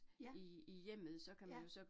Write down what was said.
Ja. Ja